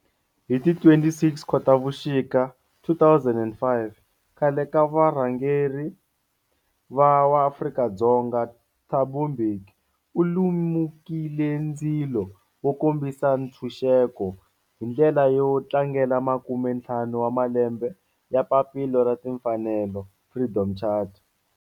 Hi ti 26 Khotavuxika 2005 khale ka varhangeri wa Afrika-Dzonga Thabo Mbeki u lumekile ndzilo wo kombisa ntshuxeko, hi ndlela yo tlangela makumentlhanu wa malembe ya papila ra timfanelo, Freedom Charter.